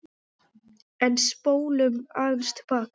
En spólum aðeins til baka.